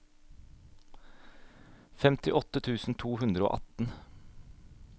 femtiåtte tusen to hundre og atten